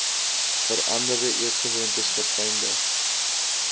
veranderde eetgewoontes verfynde